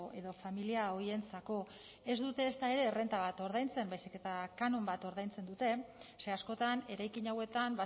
edo familia horientzako ez dute ezta ere errenta bat ordaintzen baizik eta kanon bat ordaintzen dute ze askotan eraikin hauetan